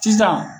Sisan